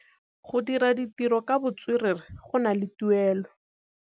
Go dira ditirô ka botswerere go na le tuelô.